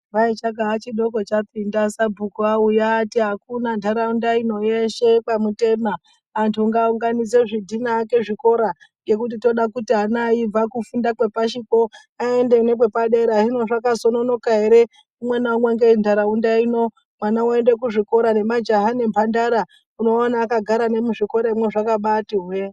Kwai chakaachidoko chapinda sabhuku auuya aati akuna nharaunda ino yeshe yekwamutema antu ngaa unganidze zvidhina aake zvikora ngokuti toda kuti ana aibva kufunda kwepashikwo aende nekwepadera hino zvakazononoka ere umwenaumwe ngenharaunda ino mwana woende kuzvikora nemajaha nemhandara unobaa waone akagara muzvikoramwo zvakabati hwe.